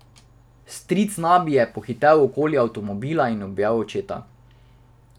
Stric Nabi je pohitel okoli avtomobila in objel očeta.